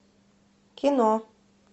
кино